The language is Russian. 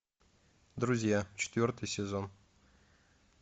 друзья четвертый сезон